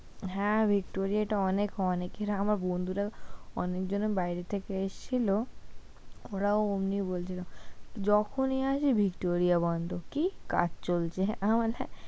হ্যাঁ ভিক্টোরিয়া টা অনেক, অনেকরা আবার বন্ধুরাও অনেকজন বাইরে থেকে এসেছিল, ওরাও অমনি বলছিল, যখনি আসি ভিক্টোরিয়া বন্ধ, কি? কাজ চলছে